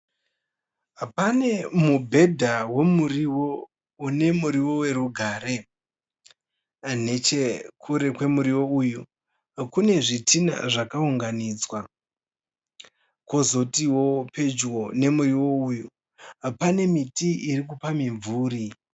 Pane mubhedha wemuriwo une muriwo werugare. Nechekure kwemuriwo uyu kune zvidhina zvakaunganidzwa. Kwozotiwo pedyo nemuriwo uyu pane miti irikupa mimvuri.